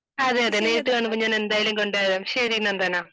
അതെയതെ നേരിട്ട് കാണുമ്പോൾ ഞാൻ എന്തായാലും കൊണ്ടുവരാം ശരി നന്ദന